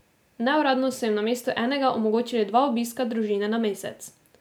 Neuradno so jim namesto enega omogočili dva obiska družine na mesec.